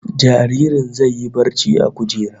Jaririn zai yi barci a kujera